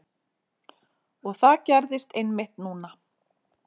Og það gerðist einmitt núna.